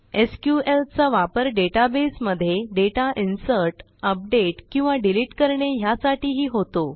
SQL चा वापर database मध्ये डेटा इन्सर्ट अपडेट किंवा डिलीट करणे ह्यासाठीही होतो